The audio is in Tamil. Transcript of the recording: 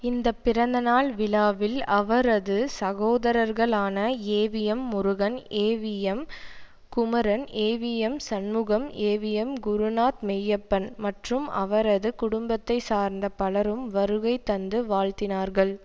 இந்த பிறந்தநாள் விழாவில் அவரது சகோதரர்களான AVM Murugan AVM Kumaran AVM Shanmugam AVM Gurunath Meiyappan மற்றும் அவரது குடும்பத்தை சார்ந்த பலரும் வருகை தந்து வாழ்த்தினார்கள்